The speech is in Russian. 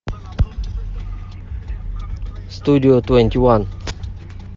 студио твенти ван